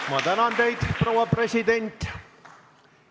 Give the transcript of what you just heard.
Ma tänan teid, proua president!